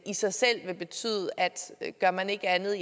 i sig selv vil betyde at gør man ikke andet